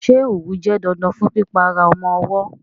Ṣé òwú jẹ́ dandan fún pípa ara ọmọ ọwọ́?